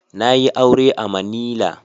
Na yi aure a manila.